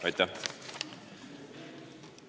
Aitäh!